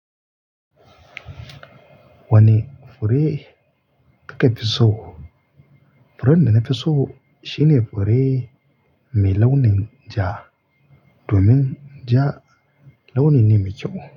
Wane fure kake fi so? Furen da na fi so shine fure mai launin ja domin ja, launi ne mai kyau.